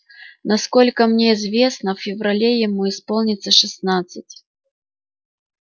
насколько мне известно в феврале ему исполнится шестнадцать